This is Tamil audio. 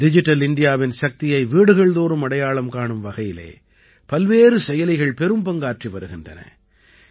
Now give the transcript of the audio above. டிஜிட்டல் இண்டியாவின் சக்தியை வீடுகள் தோறும் அடையாளம் காணும் வகையிலே பல்வேறு செயலிகள் பெரும் பங்காற்றி வருகின்றன